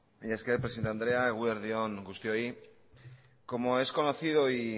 mila esker presidente andrea eguerdi on guztioi como es conocido y